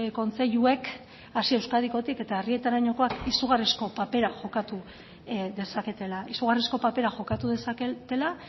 kontseiluek hasi euskadikotik eta herrietarainokoak izugarrizko papera jokatu dezaketela izugarrizko papera jokatu dezaketela